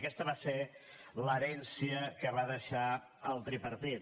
aquesta va ser l’herència que va deixar el tripartit